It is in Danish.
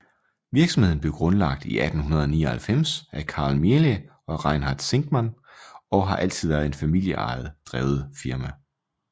Virksomheden blev grundlagt i 1899 af Carl Miele og Reinhard Zinkann og har altid været et familieejet drevet firma